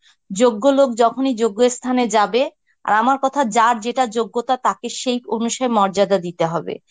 যোগ্য লোক যখনই যোগ্যস্থানে যাবে, আর আমার কথা যার যেটা যোগ্যতা তাকে সেই অনুসারে মর্যাদা দিতে হবে.